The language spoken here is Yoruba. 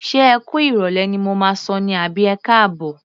Ṣé ẹ kú ìrọ̀lẹ́ ni mo máa sọ ní àbí ẹkáàbọ̀?